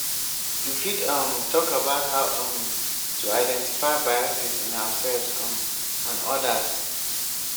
you fit um talk about how um to identify biases in ourselves um and odas.